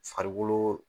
Farikolo